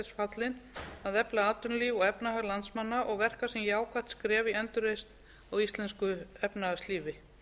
þess fallin að efla atvinnulíf og efnahag landsmanna og verka sem jákvætt skref í endurreisn á íslensku efnahagslífi